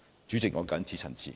主席，我謹此陳辭。